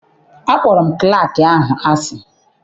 Akpọrọ m klaakị ahụ asị.